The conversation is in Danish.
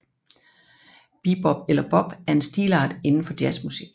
Bebop eller bop er en stilart inden for jazzmusik